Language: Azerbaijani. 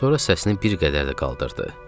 Sonra səsini bir qədər də qaldırdı.